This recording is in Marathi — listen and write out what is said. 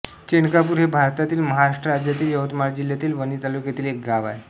चेंडकापूर हे भारतातील महाराष्ट्र राज्यातील यवतमाळ जिल्ह्यातील वणी तालुक्यातील एक गाव आहे